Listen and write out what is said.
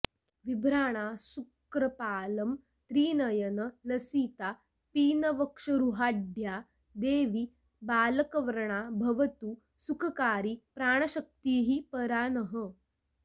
विभ्राणाऽसृक्कपालं त्रिनयन लसिता पीनवक्षोरुहाढ्या देवी बालार्कवर्णा भवतु सुखकरी प्राणशक्तिः परा नः